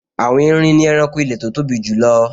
Àwọn erin ni ẹranko ilẹ̀ tó tóbi jùlọ